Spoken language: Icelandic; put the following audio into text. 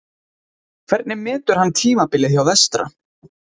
Hvernig metur hann tímabilið hjá Vestra?